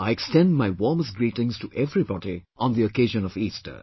I extend my warmest greetings to everybody on the occasion of Easter